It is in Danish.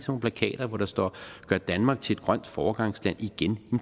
nogle plakater hvor der står gør danmark til et grønt foregangsland igen